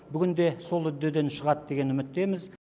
бүгін де сол үддеден шығады деген үміттеміз